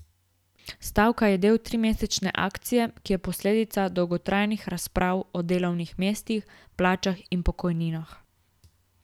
Stavka je del trimesečne akcije, ki je posledica dolgotrajnih razprav o delovnih mestih, plačah in pokojninah.